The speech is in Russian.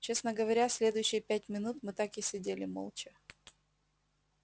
честно говоря следующие пять минут мы так и сидели молча